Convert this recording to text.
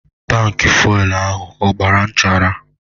Tankị fuelu ahụ a gbara nchara.